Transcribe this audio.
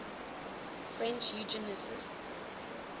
french eugenicists